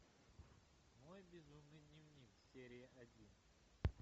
мой безумный дневник серия один